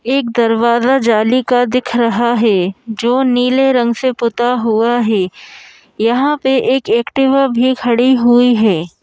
एक दरवाज़ा जाली का दिख रहा है जो नीले रंग से पुता हुआ है हाँ पे एक एक्टिवा भी खड़ी हुई है।